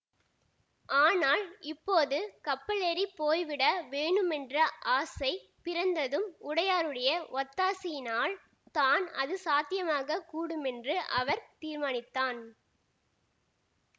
ஆனால் இப்போது கப்பலேறிப் போய் விட வேணுமென்ற ஆசை பிறந்ததும் உடையாருடைய ஒத்தாசையினால் தான் அது சாத்தியமாக கூடுமென்று அவர் தீர்மானித்தான்